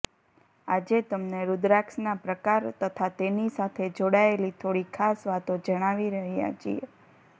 આજે તમને રૂદ્રાક્ષના પ્રકાર તથા તેની સાથે જોડાયેલી થોડી ખાસ વાતો જણાવી રહ્યા છીએ